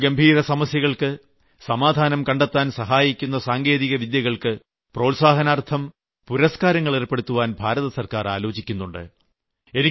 നമ്മുടെ ഗംഭീര സമസ്യകൾക്ക് സമാധാനം കണ്ടെത്താൻ സഹായിക്കുന്ന സാങ്കേതികവിദ്യകൾക്ക് പ്രോത്സാഹനാർത്ഥം പുരസ്ക്കാരങ്ങൾ ഏർപ്പെടുത്താൻ ഭാരതസർക്കാർ ആലോചിക്കുന്നുണ്ട്